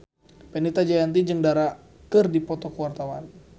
Fenita Jayanti jeung Dara keur dipoto ku wartawan